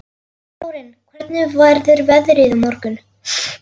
Þórinn, hvernig verður veðrið á morgun?